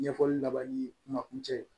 Ɲɛfɔli laban ni kumakuncɛ ye